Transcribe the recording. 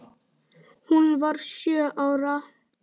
Hún varð sjö ára.